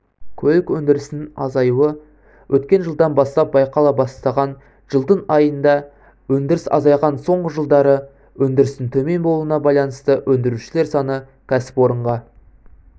көлік өндірісінің азаюы өткен жылдан бастап байқала бастаған жылдың айында өндіріс азайған соңғы жылдары өндірістің төмен болуына байланысты өндірушілер саны кәсіпорынға